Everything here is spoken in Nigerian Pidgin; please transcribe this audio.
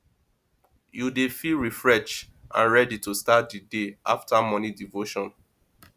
you dey feel refreshed and ready to start di day after morning devotion